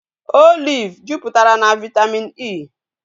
Olive juputara na vitamin E